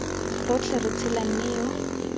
rotlhe re tshela mme yo